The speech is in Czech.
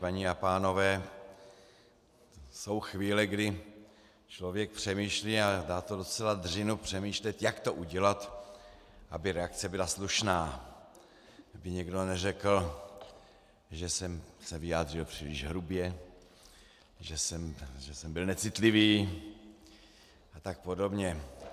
Paní a pánové, jsou chvíle, kdy člověk přemýšlí, a dá to docela dřinu, přemýšlet, jak to udělat, aby reakce byla slušná, aby někdo neřekl, že jsem se vyjádřil příliš hrubě, že jsem byl necitlivý a tak podobně.